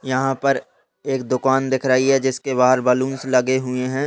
यहाँ पर एक दुकान दिख रही है जिसके बाहर बलून्स लगे हुए हैं।